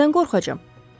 Nədən qorxacağam?